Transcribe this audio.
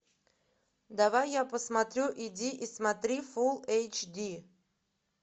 давай я посмотрю иди и смотри фулл эйч ди